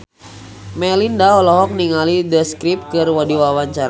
Melinda olohok ningali The Script keur diwawancara